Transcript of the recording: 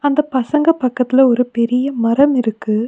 இந்த பசங்க பக்கத்துல ஒரு பெரீய மரம் இருக்கு.